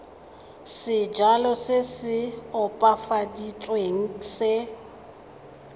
sejalo se se opafaditsweng se